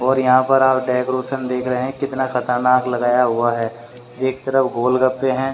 और यहां पर आप डेकोरेशन देख रहे हैं कितना खतरनाक लगाया हुआ है एक तरफ गोलगप्पे हैं।